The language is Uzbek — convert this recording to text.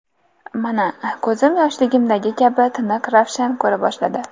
Mana, ko‘zim yoshligimdagi kabi tiniq-ravshan ko‘ra boshladi”.